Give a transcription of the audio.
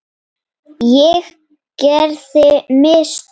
Ég gerði mistök.